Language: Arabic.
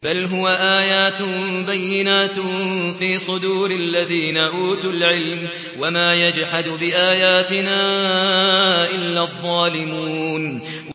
بَلْ هُوَ آيَاتٌ بَيِّنَاتٌ فِي صُدُورِ الَّذِينَ أُوتُوا الْعِلْمَ ۚ وَمَا يَجْحَدُ بِآيَاتِنَا إِلَّا الظَّالِمُونَ